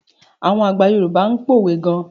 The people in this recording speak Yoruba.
Àwọn àgbà Yorùbá ń pòwe gan.